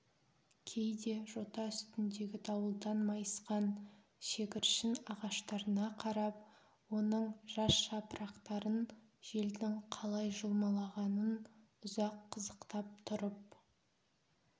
кейде жота үстіндегі дауылдан майысқан шегіршін ағаштарына қарап оның жас жапырақтарын желдің қалай жұлмалағанын ұзақ қызықтап тұрып